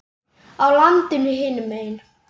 á landinu hinum megin.